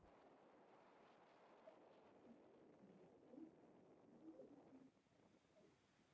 Stjórnandi verkefnisins hafði fyrir sið að safna lögmálum af þessu tagi.